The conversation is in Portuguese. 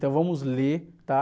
Então vamos ler, tá?